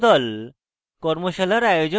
কর্মশালার আয়োজন করে